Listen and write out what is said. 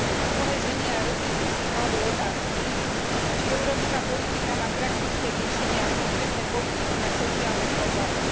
Mnohé ženy a rodiny si kladú otázky, či európska politika má praktické riešenie a konkrétne politiky na sociálne problémy.